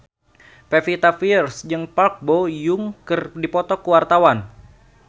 Pevita Pearce jeung Park Bo Yung keur dipoto ku wartawan